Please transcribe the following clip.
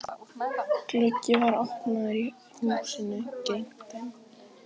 Gluggi var opnaður á húsinu gegnt þeim.